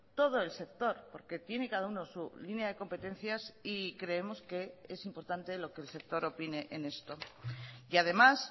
todo el sector porque tiene cada uno su línea de competencias y creemos que es importante lo que el sector opine en esto y además